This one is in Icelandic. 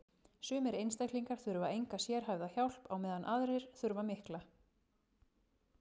sumir einstaklingar þurfa enga sérhæfða hjálp á meðan aðrir þurfa mikla